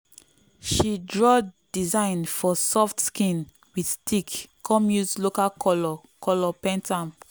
she draw design for soft skin with stick come use local colour colour paint am.